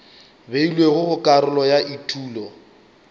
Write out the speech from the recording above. beilwego go karolo ya etulo